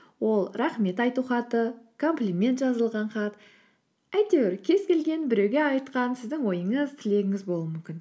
ол рахмет айту хаты комплимент жазылған хат әйтеуір кез келген біреуге айтқан сіздің ойыңыз тілегіңіз болуы мүмкін